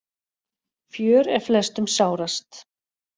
Fjör er flestum sárast.